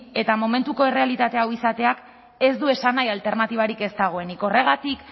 eta momentuko errealitate hau izateak ez du esan nahi alternatibarik ez dagoenik horregatik